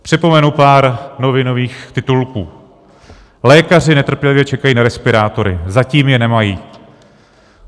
Připomenu pár novinových titulků: Lékaři netrpělivě čekají na respirátory, zatím je nemají.